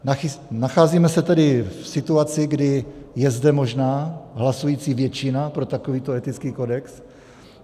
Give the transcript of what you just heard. Nacházíme se tedy v situaci, kdy je zde možná hlasující většina pro takovýto etický kodex.